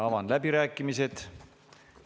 Avan läbirääkimised.